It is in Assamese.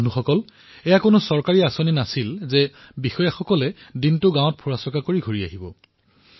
বন্ধুসকল এই কাৰ্যসূচী কোনো চৰকাৰী কাৰ্যসূচী নাছিল যে বিষয়াসকলে দিনটো গাঁও ঘূৰি সন্ধিয়া ঘূৰ আহিব